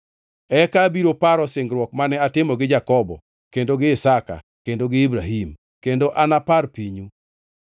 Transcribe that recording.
eka abiro paro singruok mane atimo gi Jakobo kendo gi Isaka kendo gi Ibrahim, kendo anapar pinyu.